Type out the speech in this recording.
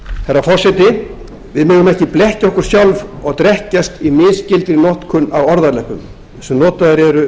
herra forseti við megum ekki blekkja okkur sjálf og drekkja í misskildri notkun á orðaleppum sem notaðir eru